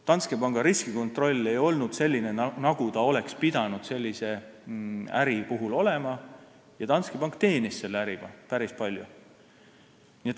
Danske Banki riskikontroll ei olnud selline, nagu ta oleks pidanud sellise äri puhul olema, ja ta teenis selle äriga päris palju.